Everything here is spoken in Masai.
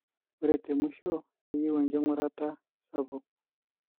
ore temuisho, keyieu engurata sapuk.